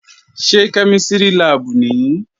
Ṣé kẹ́mísìrì láàbù nìí?